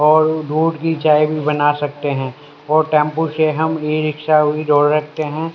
और दूध की चाय भी बना सकते हैं और टेंपो से हम ई रिक्शा भी दो रखते हैं।